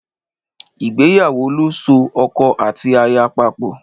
Ìgbéyàwó lo so oko àti aya papò